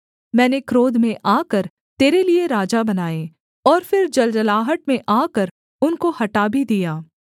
मैंने क्रोध में आकर तेरे लिये राजा बनाये और फिर जलजलाहट में आकर उनको हटा भी दिया